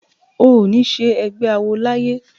O ò ní ṣe ẹgbé awo láyé!